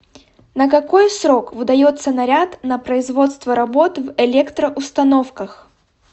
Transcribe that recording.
на какой срок выдается наряд на производство работ в электроустановках